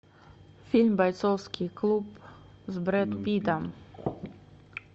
фильм бойцовский клуб с брэд питтом